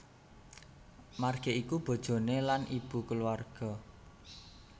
Marge iku bojoné lan ibu kulawarga